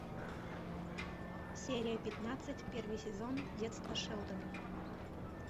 серия пятнадцать первый сезон детство шелдона